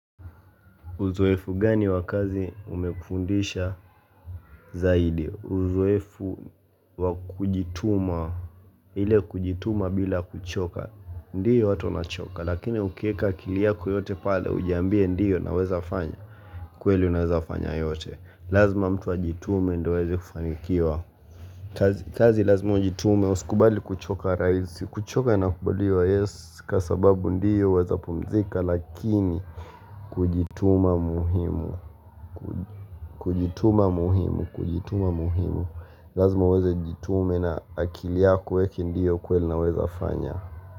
Uzoefu gani wa kazi umekufundisha zaidi uzoefu wakujituma ile kujituma bila kuchoka ndiyo watu wanachoka lakini ukiweka akili yako yote pale ujiambie ndiyo naweza fanya kweli unaweza fanya yoyote. Lazima mtu ajitume ndio aweze kufanikiwa kazi kazi lazima ujitume usikubali kuchoka rahisi kuchoka inakubaliwa yes kwa sababu ndiyo waweza pumzika lakini kujituma muhimu kujituma muhimu kujituma muhimu lazima uweze jitume na akili yako uweke ndiyo kweli naweza fanya.